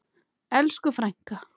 Elsku frænka!